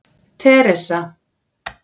Teresa